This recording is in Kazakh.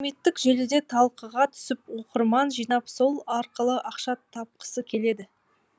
әлеуметтік желіде талқыға түсіп оқырман жинап сол арқылы ақша тапқысы келеді